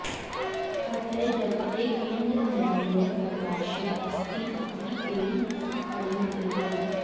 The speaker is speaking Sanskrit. अतः जगतः केन्द्रे निर्मलः प्रकाशः अस्ति इति तेन अङ्गीकृतम्